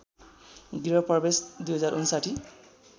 गृह प्रवेश २०५९